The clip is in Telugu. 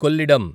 కొల్లిడం